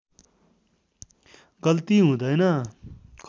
गल्ति हुँदैन